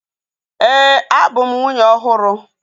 Ee, abu m nwunye ọhụrụ